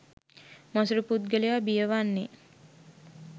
මසුරු පුද්ගලයා බිය වන්නේ